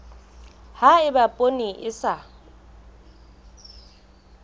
ha eba poone e sa